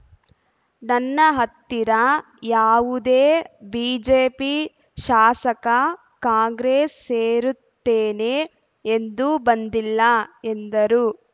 ನನ್ನ ಹತ್ತಿರ ಯಾವುದೇ ಬಿಜೆಪಿ ಶಾಸಕ ಕಾಂಗ್ರೆಸ್‌ ಸೇರುತ್ತೇನೆ ಎಂದು ಬಂದಿಲ್ಲ ಎಂದರು